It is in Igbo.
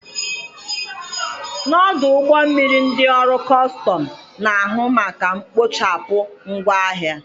N'ọdụ ụgbọ mmiri ndị ọrụ kọstọm na-ahụ maka mkpochapụ ngwa ahịa.